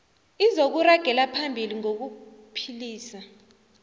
izokuragela phambili ngokuphilisa